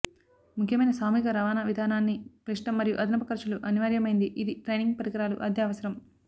ముఖ్యమైన సామూహిక రవాణా విధానాన్ని క్లిష్టం మరియు అదనపు ఖర్చులు అనివార్యమైంది ఇది ట్రైనింగ్ పరికరాలు అద్దె అవసరం